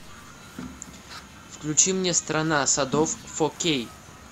включи мне страна садов фо кей